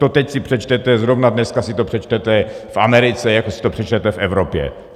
To teď si přečtete, zrovna dneska si to přečtete v Americe, jako si to přečtete v Evropě.